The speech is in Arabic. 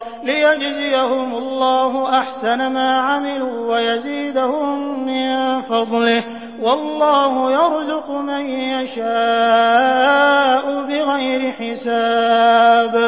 لِيَجْزِيَهُمُ اللَّهُ أَحْسَنَ مَا عَمِلُوا وَيَزِيدَهُم مِّن فَضْلِهِ ۗ وَاللَّهُ يَرْزُقُ مَن يَشَاءُ بِغَيْرِ حِسَابٍ